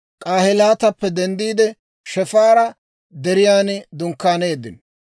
K'ahelaatappe denddiide, Shefaara Deriyan dunkkaaneeddino.